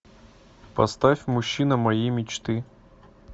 поставь мужчина моей мечты